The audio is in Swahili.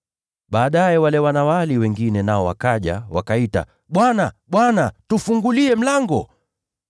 “Baadaye wale wanawali wengine nao wakaja, wakaita, ‘Bwana! Bwana! Tufungulie mlango!’